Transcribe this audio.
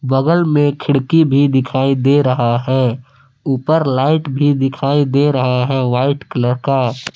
बगल में खिड़की भी दिखाई दे रहा है उपर लाइट भी दिखाई दे रहा है व्हाइट कलर का।